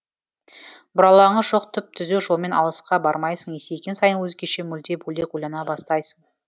бұралаңы жоқ түп түзу жолмен алысқа бармайсың есейген сайын өзгеше мүлде бөлек ойлана бастайсың